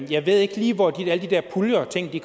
jeg ved ikke lige hvor alle de der puljer